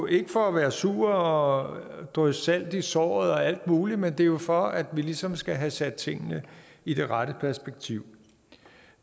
ikke for at være sur og drysse salt i såret og alt muligt andet men det er jo for at vi ligesom skal have sat tingene i det rette perspektiv